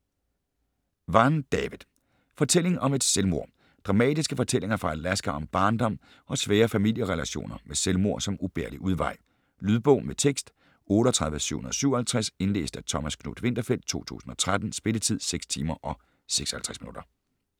Vann, David: Fortælling om et selvmord Dramatiske fortællinger fra Alaska om barndom og svære familierelationer med selvmord som ubærlig udvej. Lydbog med tekst 38757 Indlæst af Thomas Knuth-Winterfeldt, 2013. Spilletid: 6 timer, 56 minutter.